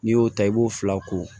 N'i y'o ta i b'o fila ko